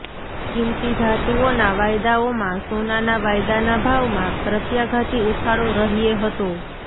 કીમતી ધાતુઓના વાયદાઓમાં સોનાના વાયદાના ભાવમાં પ્રત્યાઘાતી ઉછાળો રહૃો હતો